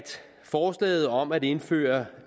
forslaget om at indføre